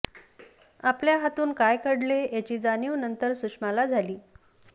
आपल्या हातून काय घडले याचे जाणीव नंतर सुषमा झाली